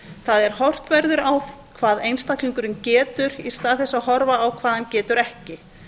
það er horft verður á hvað einstaklingurinn getur í stað þess að horfa á hvað hann getur ekki